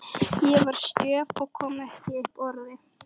Ég var stjörf og kom ekki upp orði.